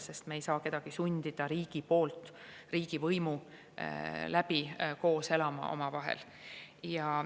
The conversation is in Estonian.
Riik ei saa kedagi sundida omavahel koos elama.